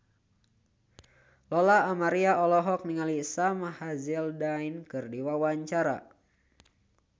Lola Amaria olohok ningali Sam Hazeldine keur diwawancara